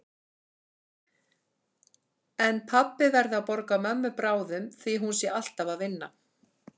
En pabbi verði að borga mömmu bráðum því hún sé alltaf að vinna.